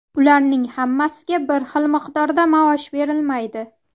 Ularning hammasiga bir xil miqdorda maosh berilmaydi.